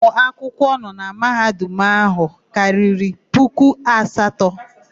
Ụmụ akwụkwọ nọ na Mahadum áhụ̀ karịrị puku asatọ.